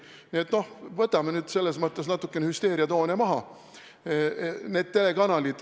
Nii et võtame nüüd natukene hüsteeriatoone maha.